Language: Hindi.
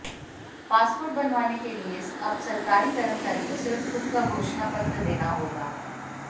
पासपोर्ट बनवाने के लिए अब सरकारी कर्मचारी को सिर्फ खुद का घोषणापत्र देना होगा